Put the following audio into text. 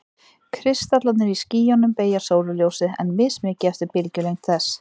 Kristallarnir í skýjunum beygja sólarljósið, en mismikið eftir bylgjulengd þess.